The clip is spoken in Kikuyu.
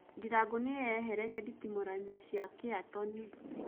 Ndirango nĩyeheretie nditimũranoine cia Caretoni